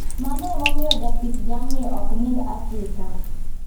Mano emomiyo japith jamni ok nind asika